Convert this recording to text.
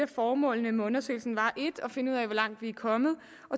formålene med undersøgelsen var 1 at finde ud af hvor langt vi er kommet